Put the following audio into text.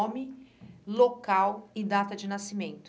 Nome, local e data de nascimento.